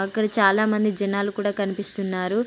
అక్కడ చాలా మంది జనాలు కూడా కనిపిస్తున్నారు.